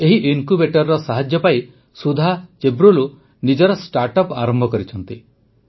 ଏହି ଇନକ୍ୟୁବେଟରର ସାହାଯ୍ୟ ପାଇ ସୁଧା ଚେବ୍ରୋଲୁ ନିଜର ଷ୍ଟାଟ୍ଅପ୍ ଆରମ୍ଭ କରିଛନ୍ତି